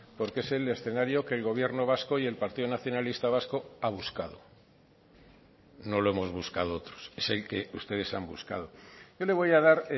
porque es el escenario que el gobierno vasco y el partido nacionalista vasco ha buscado no lo hemos buscado otros es el que ustedes han buscado yo le voy a dar